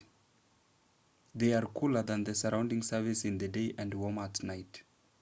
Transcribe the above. they are cooler than the surrounding surface in the day and warmer at night